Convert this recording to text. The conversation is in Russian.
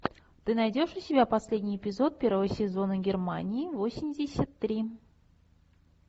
ты найдешь у себя последний эпизод первого сезона германии восемьдесят три